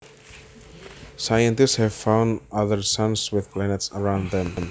Scientists have found other suns with planets around them